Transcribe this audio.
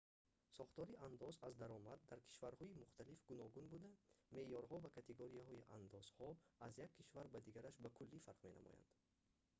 сохтори андоз аз даромад дар кишварҳои мухталиф гуногун буда меъёрҳо ва категорияҳои андозҳо аз як кишвар ба дигараш ба куллӣ фарқ менамоянд